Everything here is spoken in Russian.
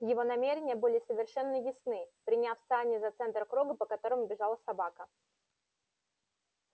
его намерения были совершенно ясны приняв сани за центр круга по которому бежала собака